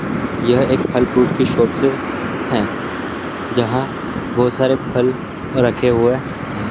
यह एक फल फ्रूट की शॉपस है हैं जहाँ बहुत सारे फल रखे हुए हैं।